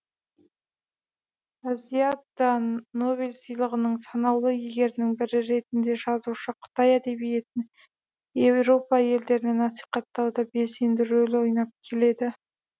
азияда нобель сыйлығының санаулы иегерінің бірі ретінде жазушы қытай әдебиетін еуропа елдерінде насихаттауда белсенді рөл ойнап келеді